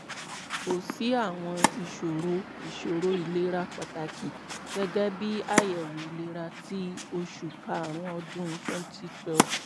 ko si awọn iṣoro iṣoro ilera pataki gẹgẹbi ayẹwo ilera ti oṣu karun ọdun twenty twelve